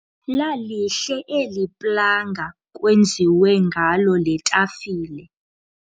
Lalihle eli planga kwenziwe ngalo le tafile.